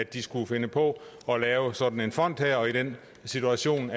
de skulle finde på at lave sådan en fond og i den situation